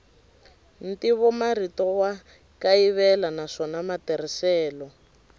ntivomarito wa kayivela naswona matirhiselo